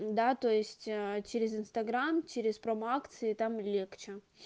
да то есть через инстаграм через промо-акции там легче